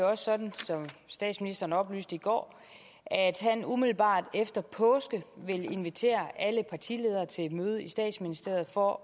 også sådan som statsministeren oplyste i går at han umiddelbart efter påske vil invitere alle partiledere til et møde i statsministeriet for